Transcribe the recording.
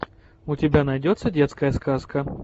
у тебя найдется детская сказка